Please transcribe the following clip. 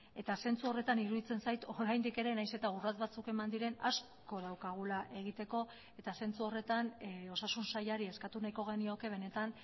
eta zentzu horretan iruditzen zait oraindik ere nahiz eta urrats batzuk eman diren asko daukagula egiteko eta zentzu horretan osasun sailari eskatu nahiko genioke benetan